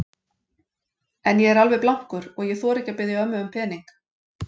En ég er alveg blankur og ég þori ekki að biðja ömmu um pening.